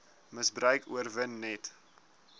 misbruik oorwin net